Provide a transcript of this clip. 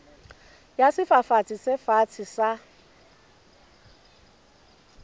ya sefafatsi se fatshe sa